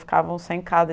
Ficavam sem casa.